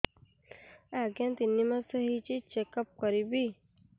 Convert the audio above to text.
ଆଜ୍ଞା ତିନି ମାସ ହେଇଛି ଚେକ ଅପ କରିବି